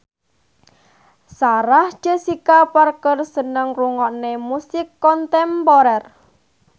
Sarah Jessica Parker seneng ngrungokne musik kontemporer